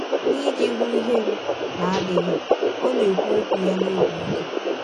N’iji ihụ ihere na - adịghị, ọ na - ekwụ ọkwụ ya n’ọbi ike.